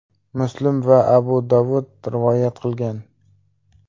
Muslim va Abu Dovud rivoyat qilgan.